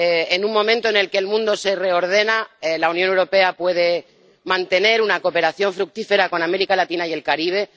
En un momento en el que el mundo se reordena, la Unión Europea puede mantener una cooperación fructífera con América Latina y el Caribe.